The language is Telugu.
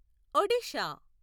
ఒడిషా